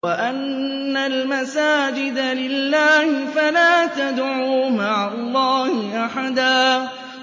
وَأَنَّ الْمَسَاجِدَ لِلَّهِ فَلَا تَدْعُوا مَعَ اللَّهِ أَحَدًا